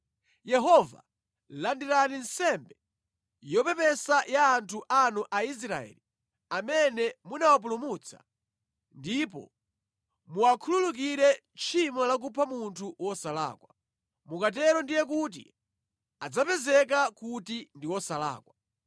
Yehova, landirani nsembe yopepesa ya anthu anu Aisraeli amene munawapulumutsa, ndipo muwakhululukire tchimo la kupha munthu wosalakwa.” Mukatero ndiye kuti adzapezeka kuti ndi osalakwa.